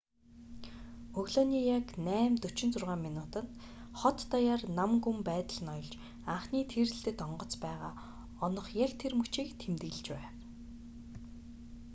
өглөөний яг 8:46 минутад хот даяар нам гүм байдал ноёлж анхны тийрэлтэт онгоц байгаа онох яг тэр мөчийг тэмдэглэж байв